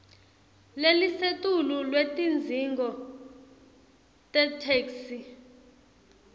lelisetulu lwetidzingo tetheksthi